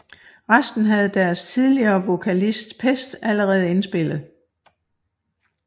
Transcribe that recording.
Resten havde deres tidligere vokalist Pest allerede indspillet